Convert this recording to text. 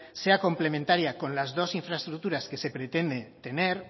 sea complementaria con las dos infraestructuras que se pretende tener